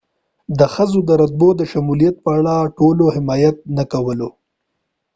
د ښځو د رتبو د شمولیت په اړه ټولو حمایت نه کولو